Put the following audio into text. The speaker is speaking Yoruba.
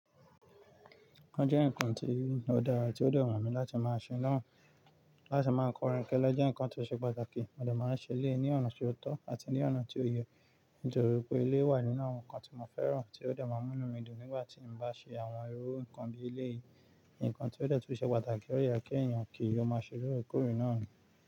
Ó jẹ́ nǹkan tí ó dára tí ó de wù mi láti máa ṣe ná, láti máa kọ́ orin kẹ́lẹ́ jẹ́ nǹkan tó ṣe pàtàkì. Mo de máa ń ṣe eleyii ní ọ̀nà tí ó tọ́ àti ní ọ̀nà tí ó yẹ, nítorí pé eleyii wà nínú àwọn nǹkan tí mo fẹ́ràn tí ó de máa mú inu mi dùn nígbà tí mo bá ṣe àwọn irú nǹkan bí eleyìí. Nǹkan tí ó de tun ṣe pàtàkì ti ọ̀ de yẹ kí èeyan kì ò máa ṣe lóorekoorè náà.